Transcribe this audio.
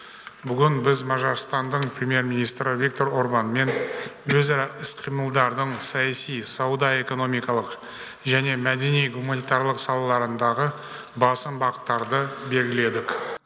бүгін біз мажарстанның премьер министрі виктор орбанмен өзара іс қимылдардың саяси сауда экономикалық және мәдени гуманитарлық салаларындағы басым бағыттарын белгіледік